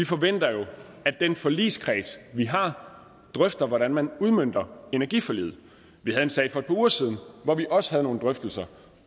forventer at den forligskreds vi har drøfter hvordan man udmønter energiforliget vi havde en sag for et par uger siden hvor vi også havde nogle drøftelser